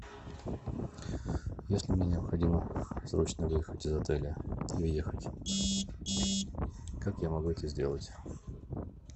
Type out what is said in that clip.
если мне необходимо срочно выехать из отеля и уехать как я могу это сделать